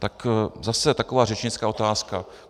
Tak zase taková řečnická otázka.